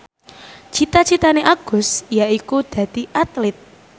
cita citane Agus yaiku dadi Atlit